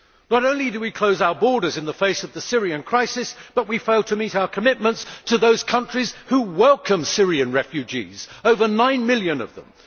Not only do we close our borders in the face of the Syrian crisis, but we fail to meet our commitments to those countries who welcome Syrian refugees over nine million of them.